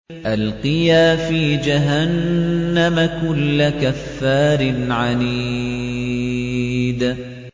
أَلْقِيَا فِي جَهَنَّمَ كُلَّ كَفَّارٍ عَنِيدٍ